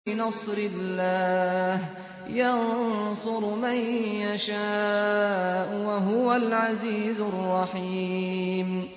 بِنَصْرِ اللَّهِ ۚ يَنصُرُ مَن يَشَاءُ ۖ وَهُوَ الْعَزِيزُ الرَّحِيمُ